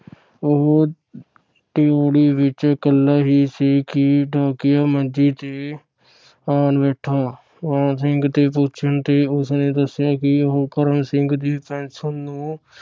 ਉਹ ਡਿਓੜੀ ਵਿਚ ਕੱਲਾ ਹੀ ਸੀ ਕਿ ਡਾਕੀਆ ਮੰਜੀ ਤੇ ਆਣ ਬੈਠਾ। ਮਾਣ ਸਿੰਘ ਦੇ ਪੁੱਛਣ ਤੇ ਉਸਨੇ ਦਸਿਆ ਕਿ ਉਹ ਕਰਮ ਸਿੰਘ ਦੀ ਪੈਨਸ਼ਨ ਨੂੰ